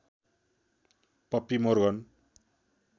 puppy Morgan